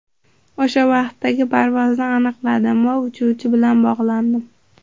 O‘sha vaqtdagi parvozni aniqladim va uchuvchi bilan bog‘landim.